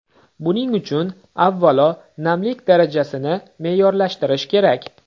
Buning uchun, avvalo, namlik darajasini me’yorlashtirish kerak.